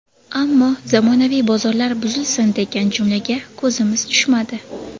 Ammo zamonaviy bozorlar buzilsin degan jumlaga ko‘zimiz tushmadi.